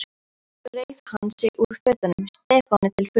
Svo reif hann sig úr fötunum, Stefáni til furðu.